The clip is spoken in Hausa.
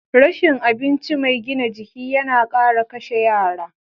Rashin abinci mai gina jiki yana kara kashe yara.